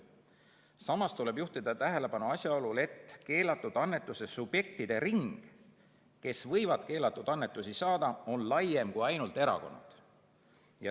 Samas tuleb juhtida tähelepanu asjaolule, et nende subjektide ring, kes võivad keelatud annetusi saada, on laiem kui ainult erakonnad.